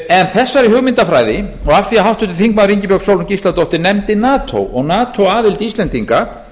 en þessari hugmyndafræði og af því háttvirtur þingmaður ingibjörg sólrún gísladóttir nefndi nato og nato aðild íslendinga